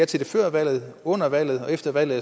til det før valget og under valget og efter valget